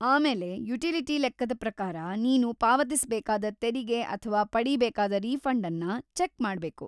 ಆಮೇಲೆ ಯುಟಿಲಿಟಿ ಲೆಕ್ಕದ ಪ್ರಕಾರ ನೀನು ಪಾವತಿಸ್ಬೇಕಾದ ತೆರಿಗೆ ಅಥ್ವಾ ಪಡೀಬೇಕಾದ ರೀಫಂಡನ್ನ ಚೆಕ್‌ ಮಾಡ್ಬೇಕು.